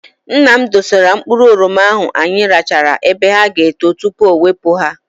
Nna m dosara mkpụrụ oroma ahụ anyị rachara ebe ha ga- eto tupu ọ wepụ ha.